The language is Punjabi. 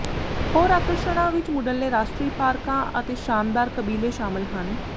ਹੋਰ ਆਕਰਸ਼ਣਾਂ ਵਿਚ ਮੁਢਲੇ ਰਾਸ਼ਟਰੀ ਪਾਰਕਾਂ ਅਤੇ ਸ਼ਾਨਦਾਰ ਕਬੀਲੇ ਸ਼ਾਮਲ ਹਨ